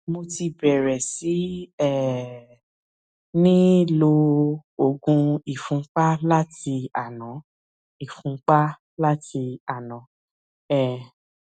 mo ti bẹrẹ sí um ní lo oògùn ìfúnpá láti àná ìfúnpá láti àná um